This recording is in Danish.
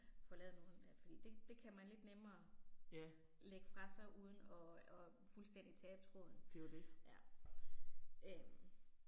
Får lavet nogle øh fordi det det kan man lidt nemmere lægge fra sig uden at at fuldstændig tabe tråden. Ja øh